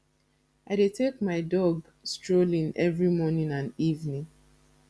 i dey take my dog strolling every morning and evening